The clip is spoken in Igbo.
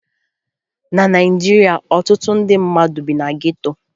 Na Naịjirịa, ọtụtụ ndị mmadụ bi na geto